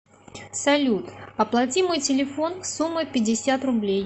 салют оплати мой телефон сумма пятьдесят рублей